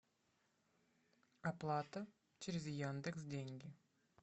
оплата через яндекс деньги